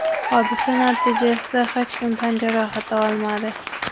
Hodisa natijasida hech kim tan jarohati olmadi.